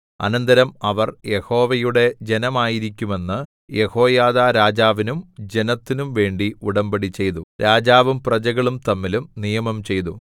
അനന്തരം അവർ യഹോവയുടെ ജനമായിരിക്കുമെന്ന് യെഹോയാദാ രാജാവിനും ജനത്തിനുംവേണ്ടി ഉടമ്പടിചെയ്തു രാജാവും പ്രജകളും തമ്മിലും നിയമം ചെയ്തു